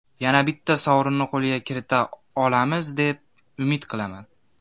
Yana bitta sovrinni qo‘lga kirita olamiz, deb umid qilaman.